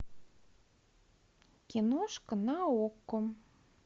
киношка на окко